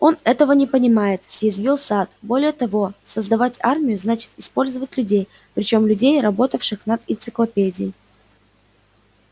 он этого не понимает съязвил сатт более того создавать армию значит использовать людей причём людей работающих над энциклопедией